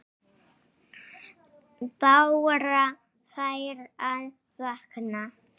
Bára fer að vakna.